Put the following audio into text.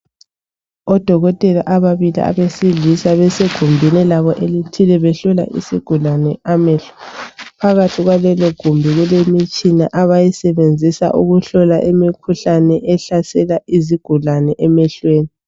Odokotela ababili abesilisa, basegumbini labo elithile behlola isigulani amehlo, phakathi kwaleligumbi kulemitshina abayisebenzisa ukuhlola imikhuhlane ehlasela izigulane emehlweni.